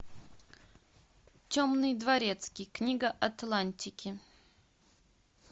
темный дворецкий книга атлантики